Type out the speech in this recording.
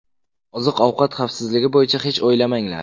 Oziq-ovqat xavfsizligi bo‘yicha hech o‘ylamanglar.